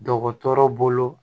Dɔgɔtɔrɔ bolo